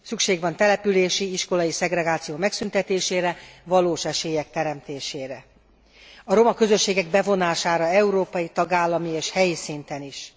Szükség van települési, iskolai szegregáció megszüntetésére, valós esélyek teremtésére, a roma közösségek bevonására európai, tagállami és helyi szinten is.